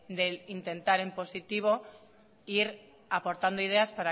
del intentar el positivo ir aportando ideas